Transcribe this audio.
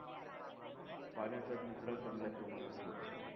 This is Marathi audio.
पाण्याचा निचरा चांगल्या प्रमाणात होत नाही.